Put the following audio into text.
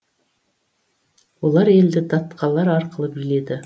олар елді датқалар арқылы биледі